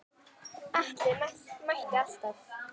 Atli mætti alltaf.